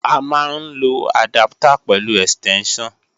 A máa ń lo àdáptà pẹ̀lú ẹ̀stẹ́ńṣàn